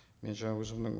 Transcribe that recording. мен жаңа өзімнің